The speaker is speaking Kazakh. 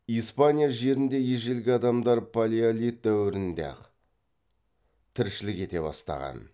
испания жерінде ежелгі адамдар палеолит дәуірінде ақ тіршілік ете бастаған